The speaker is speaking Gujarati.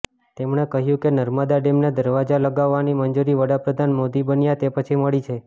તેમણે કહ્યું કે નર્મદા ડેમને દરવાજા લગાવવાની મંજૂરી વડાપ્રધાન મોદી બન્યા તે પછી મળી છે